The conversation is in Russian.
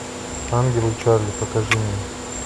ангелы чарли покажи мне